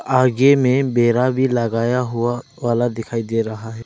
आगे में बेरा भी लगाया हुआ वाला दिखाई दे रहा है।